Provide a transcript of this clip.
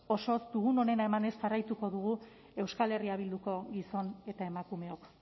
osoz dugun onena emanez jarraituko dugu euskal herria bilduko gizon eta emakumeok